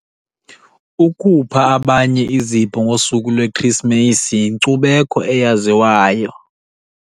Ukupha abanye izipho ngosuku lweKrisimesi yinkcubeko eyaziwayo.